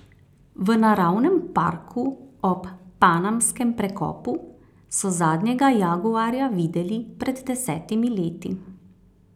V naravnem parku ob Panamskem prekopu so zadnjega jaguarja videli pred desetimi leti.